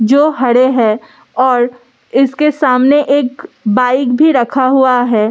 जो हड़े हैं और इसके सामने एक बाइक भी रखा हुआ है।